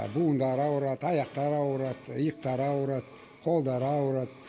буындары ауырады аяқтары ауырады иықтары ауырады қолдары ауырады